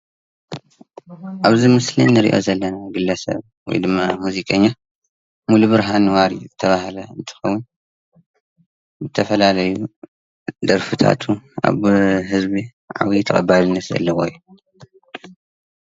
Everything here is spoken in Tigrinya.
ኣብዚ ምስሊ እንሪኦ ዘለና ግለሰብ ወይ ድማ ሙዚቀኛ ሙሉብርሃን ዋሪ ዝተባህለ እንትኸውን ዝተፈላለዩ ደርፊታቱ ኣብ ህዝቢ ዓብይ ተቐባልነት ዘለዎ እዩ፡፡